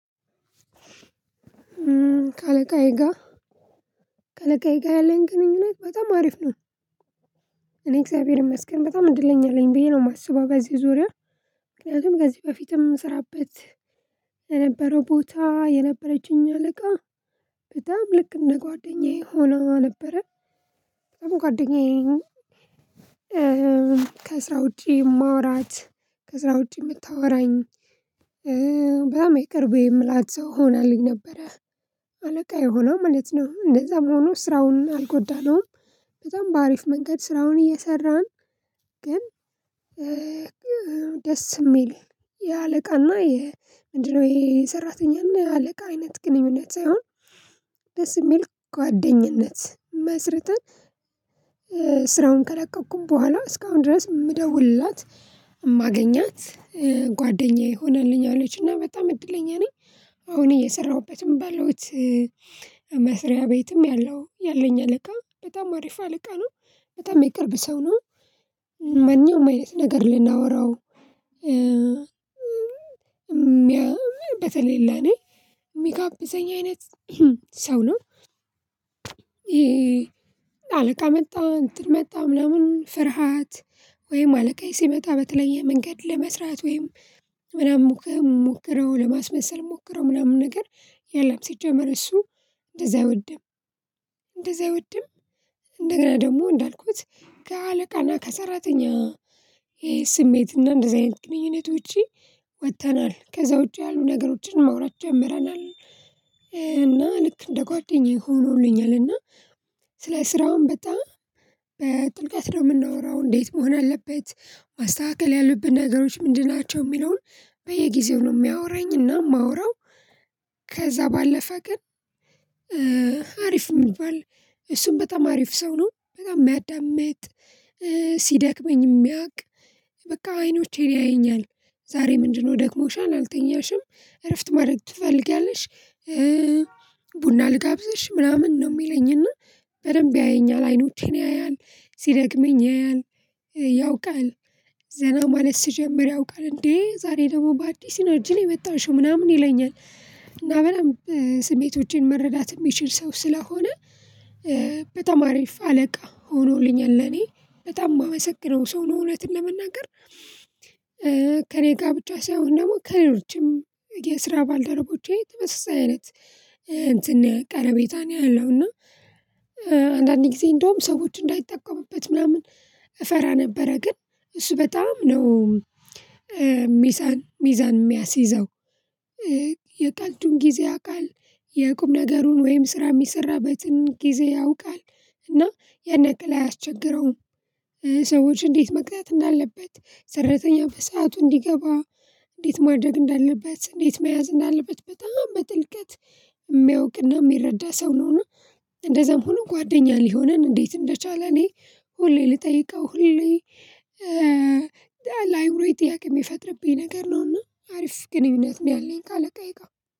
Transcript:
ከአለቃዬ ጋር ከአለቃዬ ጋር ያለኝ ግንኙነት በጣም አሪፍ ነው። እኔ እግዚአብሔር ይመስገን በጣም እድለኛ አለኝ ብዬ ነው የማስበው ጋዜ ዙሪያ ምክንያቱም ጋዜ በፊትም ስራበት ለነበረው ቦታ የነበረችኝ አለቃ በጣም ልክ እንደ ጓደኛዬ ሆኖ ነበረ ጓደኛዬ ከስራ ውጪ የማወራት ከስራ ውጪ የምታወራኝ በጣም ይቅርቤ የምላት ሰው ሆናለኝ ነበረ። አለቃ የሆነው ማለት ነው እንደዛም ሆኖ ስራውን አልጎዳነውም በጣም በአሪፍ መንገድ ስራውን እየሰራን። ግን ደስ የሚል የአለቃና የምንድነው ይሄ ሰራተኛ አለቃ አይነት ግንኙነት ሳይሆን ደስ የሚል ጓደኝነት መስርተን ስራውን ከለቀቅኩን በኋላ እስካሁን ድረስ የምደውልላት ማገኛት ጓደኛዬ ሆነልኛለች እና በጣም እድለኛ ነኝ። አሁን እየሰራሁበትም ባለውት መስሪያ ቤትም ያለው ያለኝ አለቃ በጣም አሪፋ አለቃ ነው የቀረበ ሰው ነው መንኛዉም አይነት ነገር ልናወራው በተለይ ለኔ የሚጋብዘኝ አይነት ሰው ነው። አለቃ መጣ እንትን መጣም ምናምን ፍርሃት ወይም አለቃዬ ሲመጣ በተለየ መንገድ ለመስራት ወይም ምናምን ሞክረው ለማስመሰል ሞክረው ምናምን ነገር የለም ሲጀመር እሱ እንደዛ አይወድም እንደዛ አይወድም። እንደገና ደግሞ እንዳልኩት ከአለቃና ከሰራተኛ ይሄ ስሜት እና እንደዚህ አይነት ግንኙነት ውጪ ወጥተናል ከዛ ውጪ ያሉ ነገሮችን ማውራት ጀምረናል። እና ልክ እንደ ጓደኛዬ ሆኖልኛል እና ስለ ስራውም በጣም በጥልቀት ነው የምናወራው እንዴት መሆን አለበት ማስተካከል ያሉብን ነገሮች ምንድን ናቸው የሚለውን በየጊዜው ነው የሚያወራኝና የማወራው። ከዛ ባለፈ ቀን አሪፍ ሚባል እሱን በጣም አሪፍ ሰው ነው በጣም የሚያዳምጥ ሲደክመኝ የሚያውቅ በቃ አይኖቼን ያየኛል ዛሬ ምንድነው ደክሞሻል አልተኛሽም እረፍት ማድረግ ትፈልጊያለሽ? ቡና ልጋብዝሽ ምናምን ነው የሚለኝና በደንብ ያየኛል አይኖቴን ያያል ሲደግመኝ ያያል ያውቃል ዘና ማለት ስጀምር ያውቃል እንዴ ዛሬ ደግሞ በአዲስ ይኖር ጅል የመጣሽው ምናምን ይለኛል። እና በጣም ስሜቶቼን መረዳት የሚችል ሰው ስለሆነ በጣም አሪፍ አለቃ ሆኖልኛል ለኔ በጣም የማመሰግነው ሰው ነው። እውነትን ለመናገር ከእኔ ጋር ብቻ ሳይሆን ደግሞ ከሌሎችም የስራ ባልደረቦቼ ተመሳሳይ አይነት እንትን ቀረቤታ ነው ያለው እና አንዳንዴ እንደውም ሰዎች እንዳይጠቀሙበት ምናምን እፈራ ነበረ ግን እሱ በጣም ነው። ሚዛን ሚዛን የሚያስይዘው የቃልዱን ጊዜ የቃል የቁም ነገሩን ወይም ስራ የሚሰራበትን ጊዜ ያውቃል እና የንክል አያስቸግረውም ሰዎች እንዴት መቅጣት እንዳለበት ሰራተኛ በሰአቱ እንዲገባ እንዴት ማድረግ እንዳለበት እንዴት መያዝ እንዳለበት በጣም በጥልቀት የሚያውቅና የሚረዳ ሰው ነው። እና እንደዛም ሆነ ጓደኛ ሊሆነን እንዴት እንደቻለ እኔ ሁሌ ልጠይቀው ሁሌ ለአይምሮዬ ጥያቄ የሚፈጥርብኝ ነገር ነውና አሪፍ ግንኙነት ነው ያለኝ ካለቃዬ ጋር።